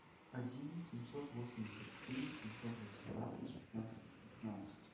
один семьсот восемьдесят семь семьсот восемнадцать шестнадцать пятнадцать